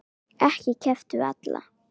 Ekki keppt við alla?